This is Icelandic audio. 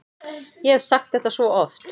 Ég hef sagt þetta svo oft.